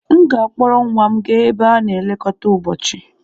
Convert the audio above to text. M ga-akpọrọ nwa m gaa ebe a na-elekọta ụbọchị.